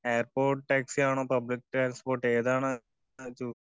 airport taxi ആണോ public transport ഏതാണ്